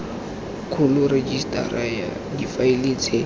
kgolo rejisetara ya difaele tse